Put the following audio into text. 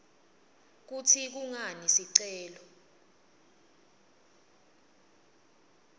kutsi kungani sicelo